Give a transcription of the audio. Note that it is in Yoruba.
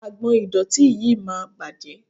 Agbọ̀n ìdọ̀tí yìí máa bàjẹ́.